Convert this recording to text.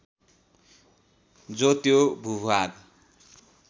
जो त्यो भूभाग